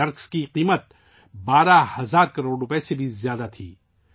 ان منشیات کی قیمت 12000 کروڑ روپئے سے زیادہ تھی